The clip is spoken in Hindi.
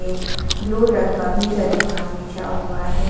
ब्लू रंग जानीमांस बिछा हुआ है।